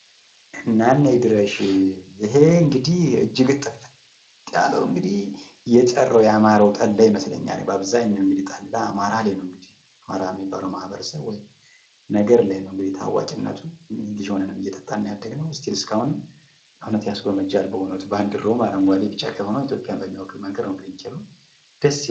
እናነይ ድርሻ! ይህ እንግዲህ እጅግ ጥፍጥ ያለው የጠራው የአማራ ጠላ ይመስለኛል ።በአብዛኛው ጠላ አማራ ላይ ነው ሚገኘው። አማራ በሚባል ማህበረሰብ ወይም ነገድ ነው ታዋቂነቱ ልጅ ሁነን እየጠጣን ነው ያደግነው አሁንም እየጠጣን ነው የምንገኘው ።እውነት ያስጎመጃል። ባንዲራውም። አረንጓዴ ፣ቢጫ፣ ቀይ ኢትዮጵያን በሚወክል መልኩ የተሰራ ነው ።